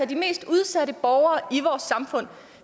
de mest udsatte borgere i vores samfund